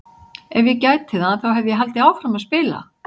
Ef ég gæti það þá hefði ég haldið áfram að spila!